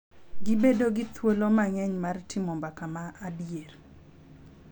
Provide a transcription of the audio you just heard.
Gibedo gi thuolo mang’eny mar timo mbaka ma adier,